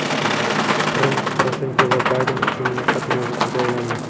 Qrim Poroshenko va Bayden uchun muloqot mavzusiga aylandi.